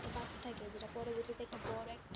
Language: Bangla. বাড়তে থাকে যেটা পরবর্তীতে একটা বড়ো একটা